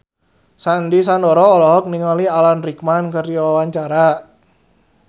Sandy Sandoro olohok ningali Alan Rickman keur diwawancara